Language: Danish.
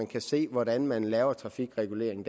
kan se hvordan man der laver trafikregulering